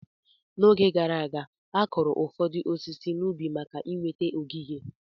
N'oge gara aga, akụrụ ụfọdụ osisi n'ubi maka inweta ogige.